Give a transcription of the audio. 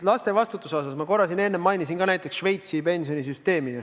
Laste vastutusest rääkides ma korra mainisin Šveitsi pensionisüsteemi.